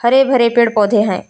हरे भरे पेड़ पौधे हैं।